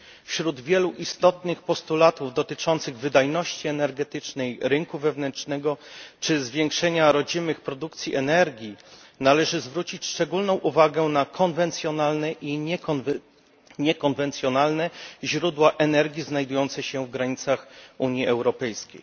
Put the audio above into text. Wśród wielu istotnych postulatów dotyczących wydajności energetycznej rynku wewnętrznego czy zwiększenia rodzimych produkcji energii należy zwrócić szczególną uwagę na konwencjonalne i niekonwencjonalne źródła energii znajdujące się w granicach Unii Europejskiej.